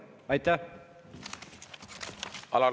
Aitäh!